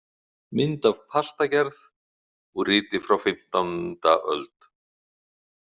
Mynd af pastagerð úr riti frá og fimmtánda öld.